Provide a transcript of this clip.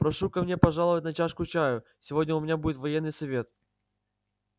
прошу ко мне пожаловать на чашку чаю сегодня у меня будет военный совет